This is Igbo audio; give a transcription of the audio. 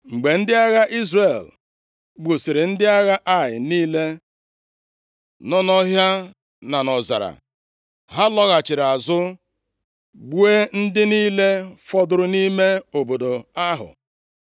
Mgbe ndị agha Izrel gbusịrị ndị agha Ai niile nọ nʼọhịa na nʼọzara, ha lọghachiri azụ gbuo ndị niile fọdụrụ nʼime obodo ahụ.